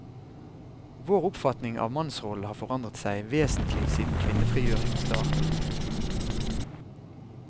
Vår oppfatning av mannsrollen har forandret seg vesentlig siden kvinnefrigjøringen startet.